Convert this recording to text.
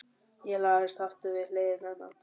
Ég lagðist aftur við hlið hennar.